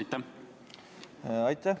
Aitäh!